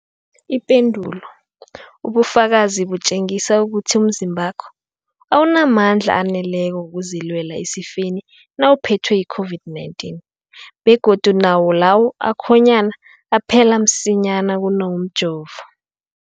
Ipendulo, ubufakazi butjengisa ukuthi umzimbakho awunamandla aneleko wokuzilwela esifeni nawuphethwe yi-COVID-19, begodu nawo lawo akhonyana aphela msinyana kunawomjovo.